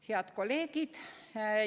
Head kolleegid!